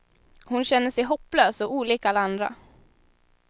Hon känner sig hopplös, och olik alla andra.